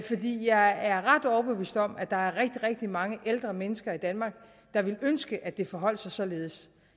jeg er ret overbevist om at der er rigtig rigtig mange ældre mennesker i danmark der ville ønske at det forholdt sig således